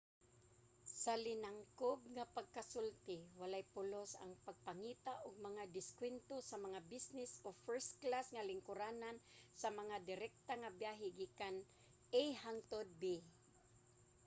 sa linangkob nga pagkasulti walay pulos ang pagpangita og mga diskwento sa mga business o first-class nga lingkuranan sa mga direkta nga biyahe gikan a hangtod b